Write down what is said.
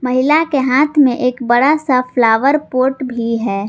महिला के हाथ में एक बड़ा सा फ्लावर पॉट भी है।